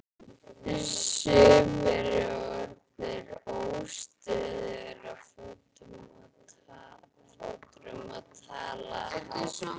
Sumir eru orðnir óstöðugir á fótunum og tala hátt.